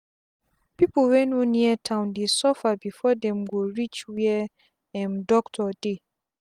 pipu wey no near town dey suffer before dem go reach were um doctor dey